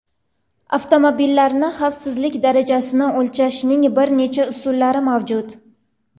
Avtomobillarning xavfsizlik darajasini o‘lchashning bir nechta usullari mavjud.